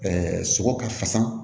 sogo ka fasa